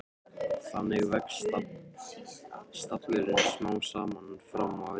Þannig vex stallurinn smám saman fram á við.